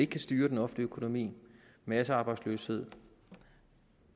kan styre den offentlige økonomi massearbejdsløshed